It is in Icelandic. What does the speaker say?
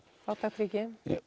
fátækt ríki